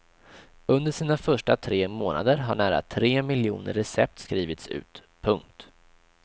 Under sina första tre månader har nära tre miljoner recept skrivits ut. punkt